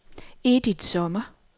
Edith Sommer